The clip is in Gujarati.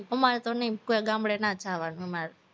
અમારે તો નઈ ગામડે ના જવાનું હોય અમારે તો